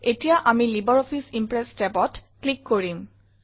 এতিয়া আমি LibreOffice Impress tabত ক্লিক কৰিম